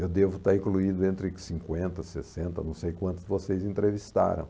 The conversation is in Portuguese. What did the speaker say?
Eu devo estar incluído entre cinquenta e sessenta, não sei quantos vocês entrevistaram.